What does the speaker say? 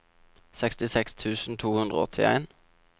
sekstiseks tusen to hundre og åttien